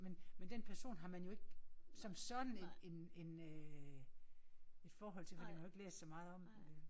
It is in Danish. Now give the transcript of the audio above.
Men men den person har man jo ikke som sådan et en en øh et forhold til fordi man har jo ikke læst så meget om dem vel